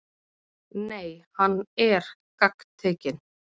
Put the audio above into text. Nei, hann ER gagntekinn.